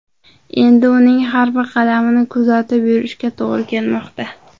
Endi uning har bir qadamini kuzatib yurishga to‘g‘ri kelmoqda.